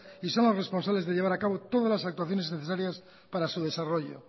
y son los responsables de llevar a cabo todas las actuaciones necesarias para su desarrollo